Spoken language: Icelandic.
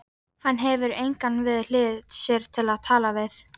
Bara að hann hefði hlýjan stað þarsem hann gæti sofið.